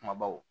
Kumabaw